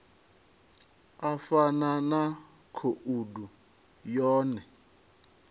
u fana na khoudu yone